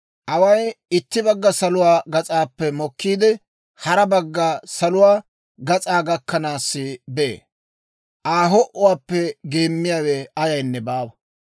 Away itti bagga saluwaa gas'aappe mokkiide, hara bagga saluwaa gas'aa gakkanaassi bee; Aa ho"uwaappe geemmiyaawe ayaynne baawa.